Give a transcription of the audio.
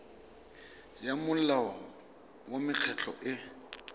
ya molao wa mekgatlho e